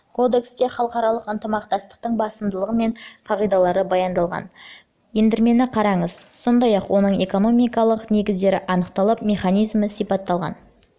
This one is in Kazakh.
кодексте халықаралық ынтымақтастықтың басымдылығы мен қағидалары баяндалған ендірмені қараңыз сондай-ақ оның экономикалық негіздері анықталып механизмі сипатталған қазақстан